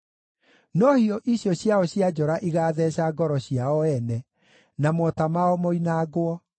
No hiũ icio ciao cia njora igaatheeca ngoro ciao ene, na mota mao moinangwo.